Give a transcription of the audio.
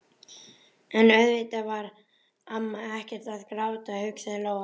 En auðvitað var amma ekkert að gráta, hugsaði Lóa-Lóa.